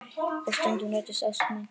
Og stundum rætist ósk mín.